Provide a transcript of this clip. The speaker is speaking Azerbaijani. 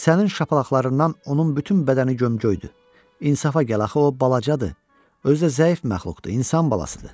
Sənin şapalaqlarından onun bütün bədəni gömgöydü, insafa gəl axı o balacadır, özü də zəif məxluqdur, insan balasıdır.